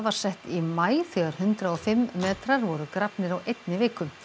sett í maí þegar hundrað og fimm metrar voru grafnir á einni viku